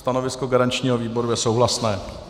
Stanovisko garančního výboru je souhlasné.